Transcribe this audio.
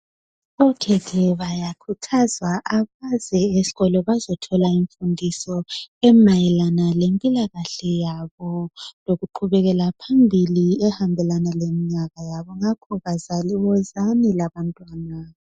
okhekhe bayakhuthazwa abaze esikolo bazethola imfundiso emayelana lempilakahle yabo lokuqhubekela phambili ehambelana leminyaka yabo ngakho bazali wozani labantwana